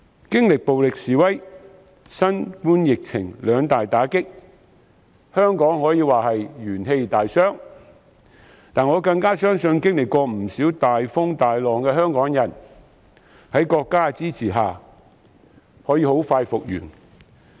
經歷暴力示威、新冠疫情兩大打擊後，香港可說是元氣大傷，但我更相信曾經歷不少大風大浪的香港人，在國家支持下可以很快復原。